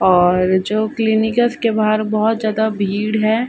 और जो क्लिनिक है। उसके बाहर बहुत जादा भीड़ है।